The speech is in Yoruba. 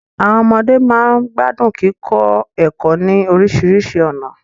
Àwọn ọmọde máa ń gbádùn kíkọ ẹ̀kọ́ ní oríṣiríṣi ọ̀nà